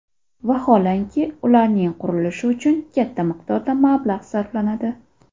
Vaholanki, ularning qurilishi uchun katta miqdorda mablag‘ sarflanadi.